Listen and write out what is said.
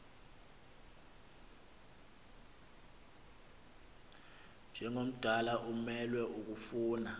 njengomdala umelwe kukofuna